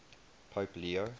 pope leo